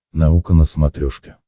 наука на смотрешке